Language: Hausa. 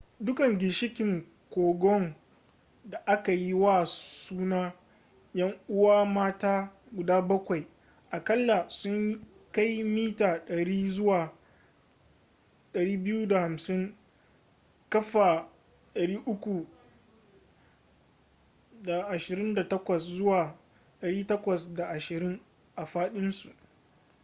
dukkan ginshikan kogon da aka yi wa suna ‘yan uwa mata guda bakwai” akalla sun kai mita 100 zuwa 250 kafa 328 zuwa 820 a fadinsu